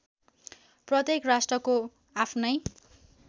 प्रत्येक राष्ट्रको आफ्नै